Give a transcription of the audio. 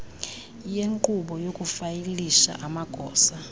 yenkqubo yokufayilisha amagosa